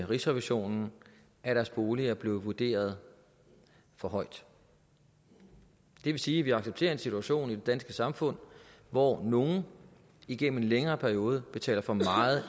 rigsrevisionen at deres bolig er blevet vurderet for højt det vil sige at vi accepterer en situation i det danske samfund hvor nogle igennem en længere periode betaler for meget